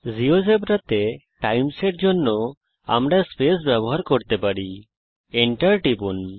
জীয়োজেব্রাতে times এর জন্য আমরা স্পেস ব্যবহার করতে পারি এবং enter টিপুন